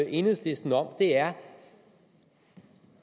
enhedslisten om er